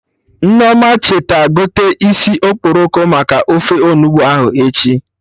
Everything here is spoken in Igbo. Nneoma, cheta gote isi okporoko maka ofe Onugbu ahụ echi